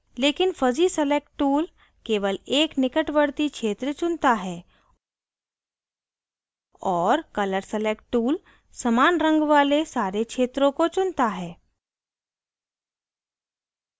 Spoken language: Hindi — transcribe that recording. लेकिन fuzzy select tool केवल एक निकटवर्ती क्षेत्र चुनता है और colour select tool समान रंग वाले सारे क्षेत्रों को चुनता है